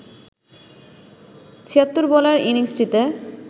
৭৬ বলের ইনিংসটিতে